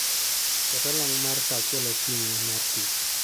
Ket olang' mar saa achiel okinyi mar tich